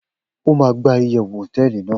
o ma gba iyewu hoteeli nàá